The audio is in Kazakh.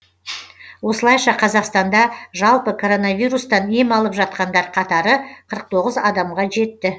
осылайша қазақстанда жалпы коронавирустан ем алып жатқандар қатары қырық тоғыз адамға жетті